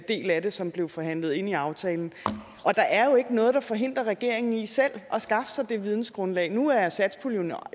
del af det som blev forhandlet ind i aftalen der er jo ikke noget der forhindrer regeringen i selv at skaffe sig det vidensgrundlag nu er satspuljen